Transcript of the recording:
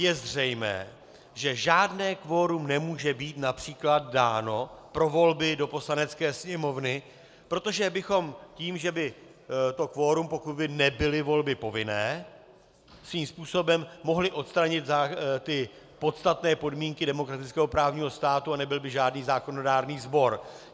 Je zřejmé, že žádné kvorum nemůže být například dáno pro volby do Poslanecké sněmovny, protože bychom tím, že by to kvorum, pokud by nebyly volby povinné, svým způsobem mohli odstranit ty podstatné podmínky demokratického právního státu a nebyl by žádný zákonodárný sbor.